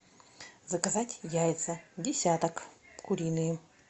заказать яйца десяток куриные